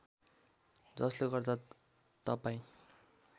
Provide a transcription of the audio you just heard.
जसले गर्दा तपाईँ